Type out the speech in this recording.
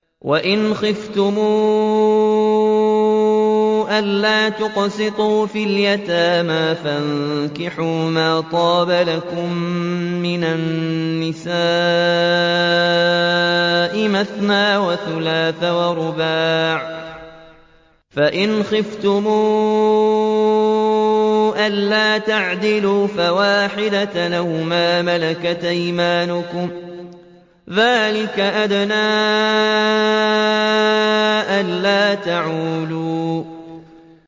وَإِنْ خِفْتُمْ أَلَّا تُقْسِطُوا فِي الْيَتَامَىٰ فَانكِحُوا مَا طَابَ لَكُم مِّنَ النِّسَاءِ مَثْنَىٰ وَثُلَاثَ وَرُبَاعَ ۖ فَإِنْ خِفْتُمْ أَلَّا تَعْدِلُوا فَوَاحِدَةً أَوْ مَا مَلَكَتْ أَيْمَانُكُمْ ۚ ذَٰلِكَ أَدْنَىٰ أَلَّا تَعُولُوا